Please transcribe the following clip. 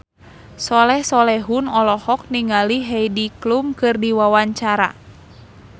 Soleh Solihun olohok ningali Heidi Klum keur diwawancara